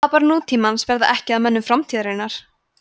apar nútímans verða ekki að mönnum framtíðarinnar